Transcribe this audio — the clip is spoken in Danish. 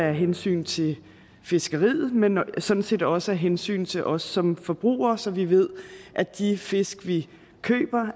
af hensyn til fiskeriet men sådan set også af hensyn til os som forbrugere så vi ved at de fisk vi køber